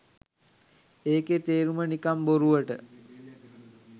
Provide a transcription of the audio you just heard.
ඒකෙ තේරුම නිකං බොරුවට